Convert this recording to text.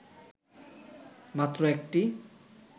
মাত্র একটি